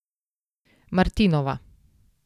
Martinova.